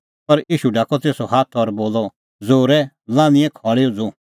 पर ईशू ढाकअ तेसो हाथ और बोलअ ज़ोरै लान्हीऐ खल़ी उझ़ू